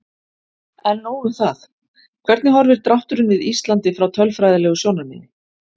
En nóg um það, hvernig horfir drátturinn við Íslandi frá tölfræðilegu sjónarmiði?